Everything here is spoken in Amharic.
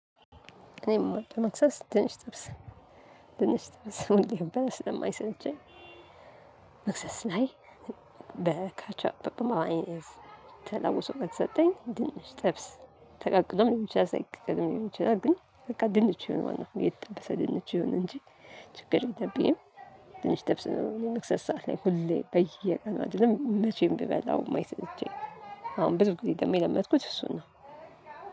እኔ ምወደው መክሰስ ድንች ጥብስ ድንች ጥብስ ምንም ብበላ ስለማይሰለቸኝ። መክሰስ ላይ በካቻፒ በበማይን ተለውሶ ከተሰጠኝ ድንች ጥብስ ተቃቅሎም ልሆን ይችላል። ሳይቀቀልም ሊሆን ይችላል። ግን በቃ ድንች ይሆናል የተጠበሰ ድንች ይሆናል እንጂ ችግር የለብኝም። ድንች ጥብስ ነው የመክሰስ ሰዓት ላይ ሁሌ በየቀን አይደለም መቼም ቢበላው የማይሰለቸኝ። አሁን ብዙ ጊዜ ደግሞ የለመድኩት እሱ ነው።